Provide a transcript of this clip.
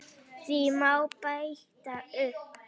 Því má bæta upp